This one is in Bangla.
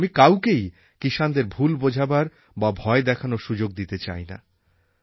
আমি কাউকেই কিষাণদের ভুল বোঝাবার বা ভয় দেখানোর সুযোগ দিতে চাই না